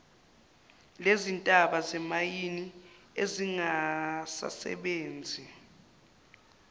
lezintaba zemayini ezingasasebenzi